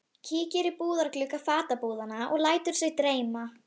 Kíkir í búðarglugga fatabúðanna og lætur sig dreyma.